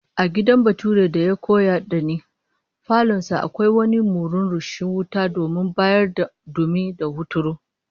A gidan baturen da ya koyar da ni, falon sa akwai wani murhun rushing wuta domin bayar da dumi da hunturu